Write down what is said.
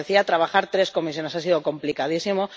Como decía, trabajar tres comisiones ha sido complicadísimo.